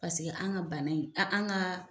Paseke an ka bana in, an ka.